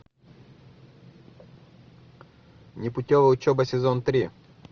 непутевая учеба сезон три